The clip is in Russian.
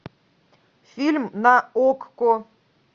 фильм на окко